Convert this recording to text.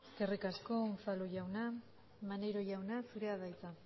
eskerrik asko unzalu jauna maneiro jauna zurea da hitza